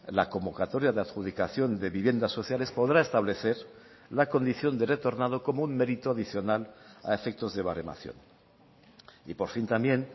la convocatoria de adjudicación de viviendas sociales podrá establecer la condición de retornado como un mérito adicional a efectos de baremación y por fin también